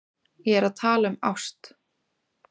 Ég er að tala um ást.